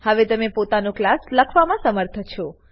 હવે તમે પોતાનો ક્લાસ લખવામાં સમર્થ છો